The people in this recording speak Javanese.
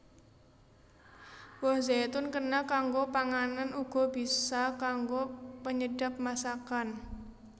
Woh zaitun kena kanggo panganan uga bisa kanggo penyedhap masakan